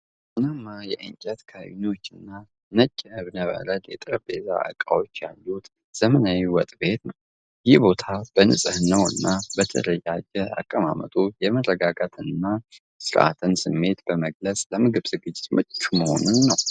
ቡናማ የእንጨት ካቢኔቶችና ነጭ የእብነበረድ የጠረጴዛ ዕቃዎች ያሉት ዘመናዊ ወጥ ቤት ነው። ይህ ቦታ በንጽህናውና በተደራጀ አቀማመጡ የመረጋጋትንና የሥርዓትን ስሜት በመግለጽ ለምግብ ዝግጅት ምቹ መሆኑን ነው።